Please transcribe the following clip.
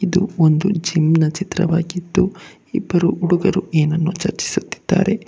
ಇದು ಒಂದು ಜಿಮ್ನ ಚಿತ್ರವಾಗಿದ್ದು ಇಬ್ಬರು ಹುಡುಗರು ಏನನ್ನು ಚರ್ಚಿಸುತ್ತಿದ್ದಾರೆ.